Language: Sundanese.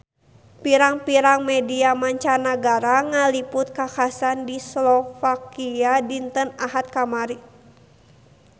Pirang-pirang media mancanagara ngaliput kakhasan di Slovakia dinten Ahad kamari